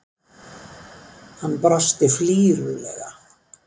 Hann brosti flírulega.